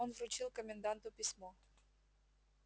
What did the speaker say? он вручил коменданту письмо